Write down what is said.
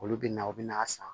Olu bɛ na u bɛ n'a san